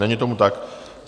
Není tomu tak.